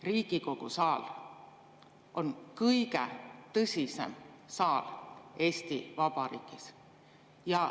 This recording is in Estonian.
Riigikogu saal on kõige tõsisem saal Eesti Vabariigis.